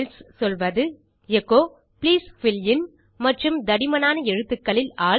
else சொல்வது echo please fill in மற்றும் தடிமனான எழுத்துக்களில் ஆல்